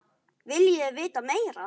Viljið þið vita meira?